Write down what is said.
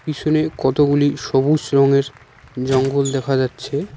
পিছনে কতগুলি সবুজ রংয়ের জঙ্গল দেখা যাচ্ছে।